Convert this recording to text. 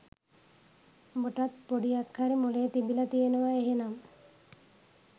උඹටත් පොඩියක් හරි මොළේ තිබිල තියෙනව එහෙනම්